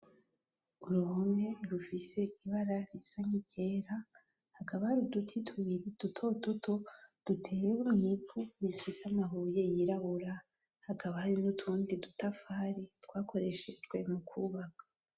Uruhome rufise ibara risa nk'iryera hakaba hari uduti tubiri dutoduto duteye mwivu rifise amabuye yirabura hakaba hari n'utundi dutafari twakoreshejwe m'ukubaka.